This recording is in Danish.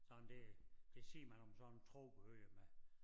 Sådan det det siger man om sådan tropeøer med